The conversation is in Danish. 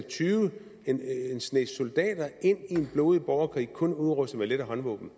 en snes soldater ind i en blodig borgerkrig kun udrustet med lette håndvåben